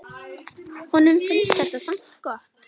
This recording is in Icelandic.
Honum finnst þetta samt gott.